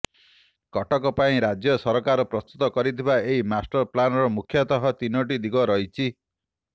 କଟକ ପାଇଁ ରାଜ୍ୟ ସରକାର ପ୍ରସ୍ତୁତ କରିଥିବା ଏହି ମାଷ୍ଟର ପ୍ଲାନର ମୁଖ୍ୟତଃ ତିନୋଟି ଦିଗ ରହିଛି